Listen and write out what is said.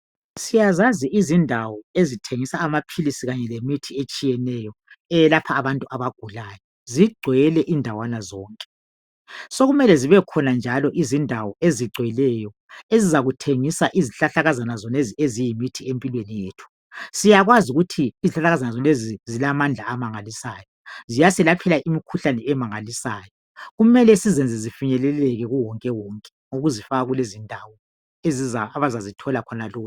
Siyazazi izindawo ezithengisa amaphilisi kanye lemithi etshiyeneyo eyelapha abantu abagulayo . Zigcwele indawana zonke . Sokumele zibekhona njalo izindawo ezigcweleyo ezizakuthengisa izihlahlakazana eziyimithi empilweni yethu .Siyakwazi ukuthi izihlahlakazana zolezi zilamandla amangalisayo. Ziyasilaphela lemkhuhlane emangalisayo. Kumele sizenze zifinyeleleke ku wonke wonke ukuzifaka kulezindawo abazazithola khona lula.